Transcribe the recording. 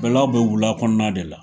Bɛlaw bɛ wula kɔnɔna de la